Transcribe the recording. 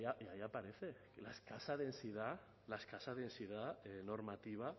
y ahí aparece la escasa densidad la escasa densidad normativa